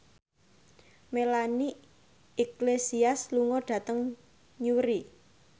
Melanie Iglesias lunga dhateng Newry